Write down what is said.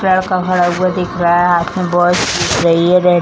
लड़का खड़ा हुआ दिख रहा है हाथ मे वॉच दिख रही है रेड |